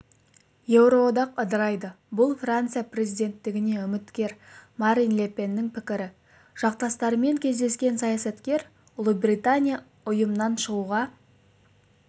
еуроодақ ыдырайды бұл франция президенттігіне үміткер марин ле пеннің пікірі жақтастарымен кездескен саясаткер ұлыбритания ұйымнан шығуға